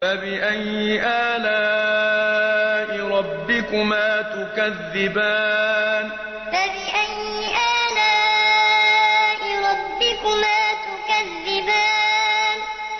فَبِأَيِّ آلَاءِ رَبِّكُمَا تُكَذِّبَانِ فَبِأَيِّ آلَاءِ رَبِّكُمَا تُكَذِّبَانِ